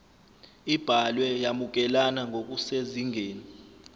ibhalwe yamukelana ngokusezingeni